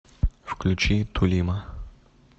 включи тулима